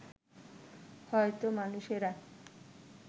হয়তো মানুষেরা